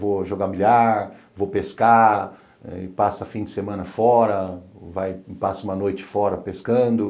Vou jogar milhar, vou pescar, passa fim de semana fora, passo uma noite fora pescando.